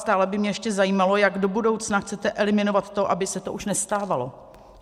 Stále by mě ještě zajímalo, jak do budoucna chcete eliminovat to, aby se to už nestávalo.